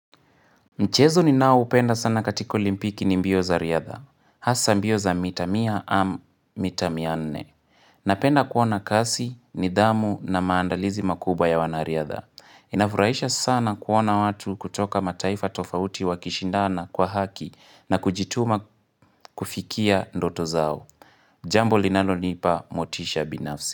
Mchezo ni nao upenda sana katika olimpiki ni mbio za riadha. Hasa mbio za mita mia am mita mianne. Napenda kuona kasi, nidamu na maandalizi makuba ya wanariadha. Inafurahisha sana kuona watu kutoka mataifa tofauti wa kishindana kwa haki na kujituma kufikia ndoto zao. Jambo linalo nipa motisha binafsi.